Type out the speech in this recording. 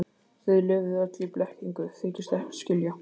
Þið lifið öll í blekkingu, þykist ekkert skilja.